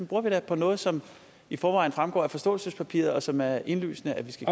bruger vi da på noget som i forvejen fremgår af forståelsespapiret og som det er indlysende at vi skal